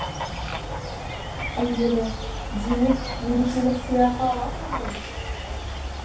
әйелі демек мерекелік сыйақы аласың ғой